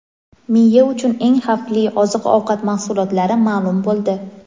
Miya uchun eng xavfli oziq-ovqat mahsulotlari ma’lum bo‘ldi.